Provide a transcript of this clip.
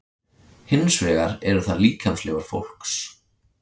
Hins vegar eru það líkamsleifar fólks.